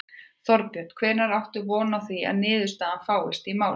Þorbjörn: Hvenær áttu von á því að niðurstaða fáist í málið?